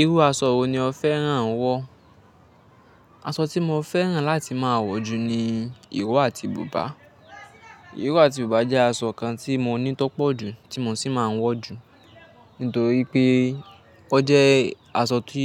Irú aṣọ wo ni o fẹ́ràn wọ́? Aṣọ tí mo fẹ́ràn láti máa wọ̀ jù ni ìró àti bùbá. Ìró àti bùbá jẹ́ aṣọ kan tí mo ní tọ́pọ̀ jù, tí mo sì máa ń wọ̀ jù. Nítorí pé ó jẹ́ aṣọ tí